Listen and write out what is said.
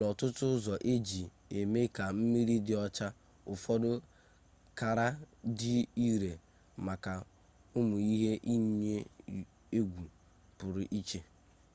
e nwere ọtụtụ ụzọ e ji eme ka mmiri dị ọcha ụfọdụ kara dị ire maka ụmụ ihe iyi egwu pụrụ iche